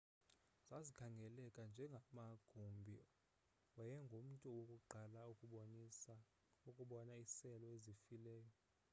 zazikhangeleka njengamagumbi wayengumntu wokuqala ukubona iiseli ezifileyo